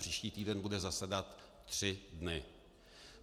Příští týden bude zasedat tři dny.